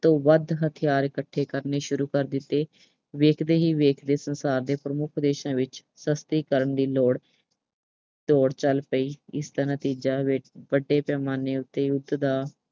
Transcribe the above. ਤੋਂ ਵੱਧ ਹਥਿਆਰ ਇਕੱਠੇ ਕਰਨੇ ਸ਼ੁਰੂ ਕਰ ਦਿੱਤੇ। ਦੇਖਦੇ ਹੀ ਦੇਖਦੇ ਸੰਸਾਰ ਦੇ ਪ੍ਰਮੁੱਖ ਦੇਸ਼ਾਂ ਵਿੱਸ਼ ਸ਼ਸਤਰੀਕਰਨ ਦੀ ਦੌੜ, ਦੌੜ ਚੱਲ ਪਈ। ਇਸ ਤਰ੍ਹਾਂ ਤੀਜਾ, ਅਹ ਵੱਡੇ ਪੈਮਾਨੇ ਉੱਤੇ ਯੁੱਧ ਦਾ